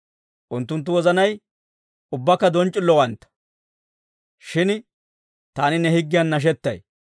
Unttunttu wozanay ubbakka donc'c'illowantta; shin taani ne higgiyan nashetay.